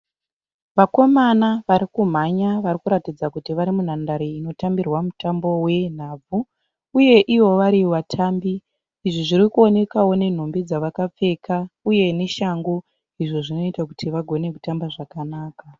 Vakamona varikumhanya varikuratidza kuti varimunhandari inotambirwa mutambo wenhapfu uye ivo varivatambi. Izvi zvirikuonekawo nemhumbi dzavakapfeka uye neshangu, izvo zvinoita kuti vagone kutamba zvakanaka.